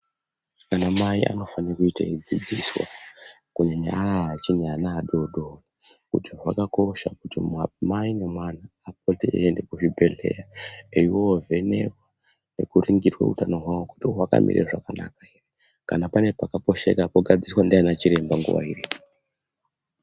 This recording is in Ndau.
Anamai anofanire kuite eidzidziswa kunyanya nyanya vaya vachiri vana vadoodori kuti zvakakosha kuti mai nemwana vaende kuchibhedhlera veindoovenekwa nekuningirwa kuti utano hwavo hwakamira zvakanaka ere. Kana pane pakaposheka pogadziriswa ndiana chiremba nguwa iripo.